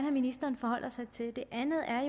at ministeren forholder sig til det andet er